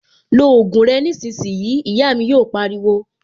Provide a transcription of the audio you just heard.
Lo ògùn rẹ nísìnyìí', Ìyá mi yò pariwo